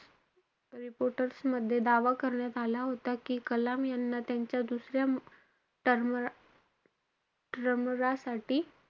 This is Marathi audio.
Reporters मध्ये दावा करण्यात आला होता कि, कलाम यांना, त्यांच्या दुसऱ्या term साठी,